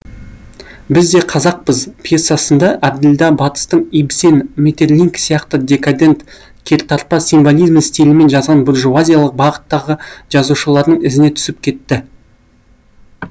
біз де қазақпыз пьесасында әбділда батыстың ибсен метерлинк сияқты декадент кертартпа символизм стилімен жазған буржуазиялық бағыттағы жазушыларының ізіне түсіп кетті